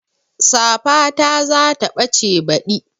Safata za ta ɓace baɗi